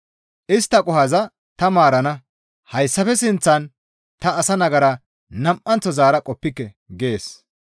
Istta qohoza ta maarana. Hayssafe sinththan ta asa nagara nam7anththo zaara qoppike» gees.